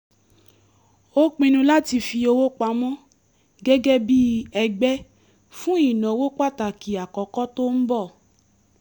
a pinnu láti fi owó pamọ́ gẹ́gẹ́ bí ẹgbẹ́ fún ìnáwó pàtàkì àkọ́kọ́ tó ń bọ̀